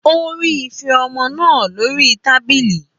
Ó rí ife ọmọ náà lórí tábìlì.